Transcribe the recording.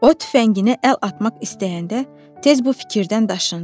O tüfənginə əl atmaq istəyəndə tez bu fikirdən daşındı.